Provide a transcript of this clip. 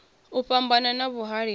u fhambana na vhuhali ha